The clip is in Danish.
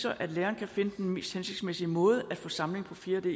at læreren kan finde den mest hensigtsmæssige måde at få samling på fjerde d